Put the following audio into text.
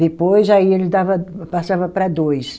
Depois, aí ele dava, passava para dois.